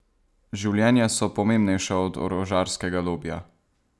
Življenja so pomembnejša od orožarskega lobija!